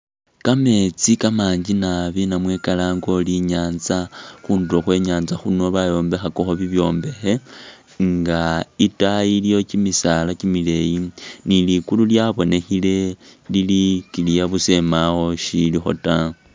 Ka metsi kamangi nabi namwe kalange uri inyatsa khundulo khwe nyanza khuno bayombekhakakho bi byombekhe nga itayi iliyo tsimisaala kyimileyi, ni ligulu lyabonekhene lili clear busa mbawo ishilikho ta.